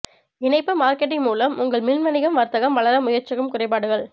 இணைப்பு மார்க்கெட்டிங் மூலம் உங்கள் மின் வணிகம் வர்த்தகம் வளர முயற்சிக்கும் குறைபாடுகள்